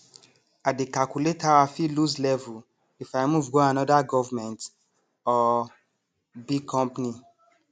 i dey calculate how i fit lose level if i move go another gov or big company